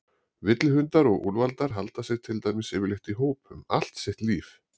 Villihundar og úlfar halda sig til dæmis yfirleitt í hópum allt sitt líf.